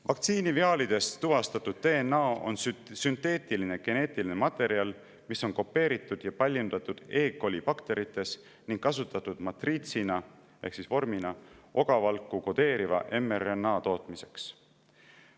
Vaktsiiniviaalides tuvastatud DNA on sünteetiline geneetiline materjal, mis on kopeeritud ja paljundatud kolibakterites ning kasutatud matriitsina ehk vormina ogavalku kodeeriva mRNA tootmiseks.